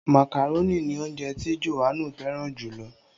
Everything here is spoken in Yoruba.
Màkàrónì ni ounjẹ ti Johannu fẹràn jù lọ.